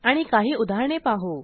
आणि काही उदाहरणे पाहू